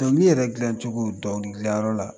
Dɔnkili yɛrɛ dilancogo dɔnkilidilanyɔrɔ la